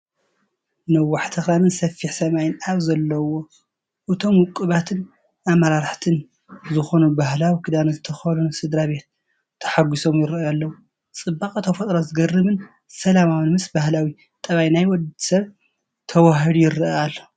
ነዋሕቲ ኣኽራንን ሰፊሕ ሰማይን ኣብ ዘለውዎ፣ እቶም ውቑባትን ኣመሕርትን ዝኾኑ ባህላዊ ክዳን ዝተኸደኑ ስድራ ቤት ተሓጉሶም ይራኣዩ ኣለው፡፡ ጽባቐ ተፈጥሮ ዘገርምን ሰላማዊን ምስ ባህላዊ ጠባይ ናይ ወዲ ሰብ ተዋሃሂዱ ይረአ ኣሎ፡፡